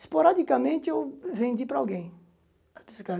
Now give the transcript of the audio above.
Esporadicamente, eu vendi para alguém a bicicleta.